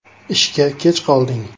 “Ishga kech qolding.